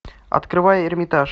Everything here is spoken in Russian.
открывай эрмитаж